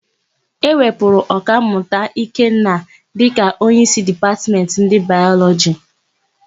E wepụrụ Ọkammụta Ikenna dịka onyeísí Dipatmentị ndị Bayọlọjị.